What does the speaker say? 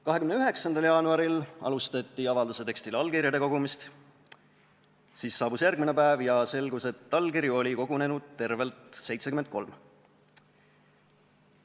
29. jaanuaril alustati avalduse tekstile allkirjade kogumist, siis saabus järgmine päev ja selgus, et allkirju oli kogunenud tervelt 73.